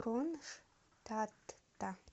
кронштадта